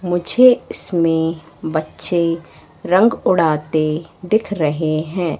मुझे इसमें बच्चे रंग उड़ाते दिख रहे हैं।